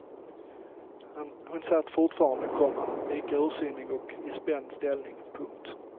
Hon satt fortfarande, komma lika ursinnig och i spänd ställning. punkt